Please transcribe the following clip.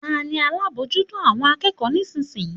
Ta ni alábòójútó àwọn akẹ́kọ̀ọ́ nísinsìnyí?